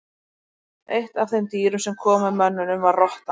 Eitt af þeim dýrum sem kom með mönnunum var rottan.